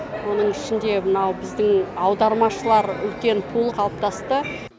оның ішінде мынау біздің аудармашылар үлкен пулы қалыптасты